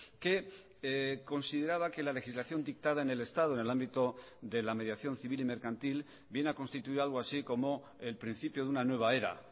que consideraba que la legislación dictada en el estado en el ámbito de la mediación civil y mercantil viene a constituir algo así como el principio de una nueva era